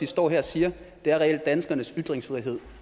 står her og siger er reelt at danskernes ytringsfrihed